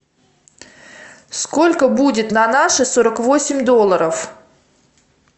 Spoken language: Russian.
сколько будет на наши сорок восемь долларов